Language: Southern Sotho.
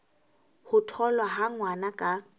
ho tholwa ha ngwana ka